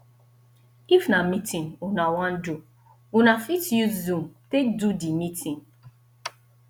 if na meeting una wan do una fit use zoom take do di meeting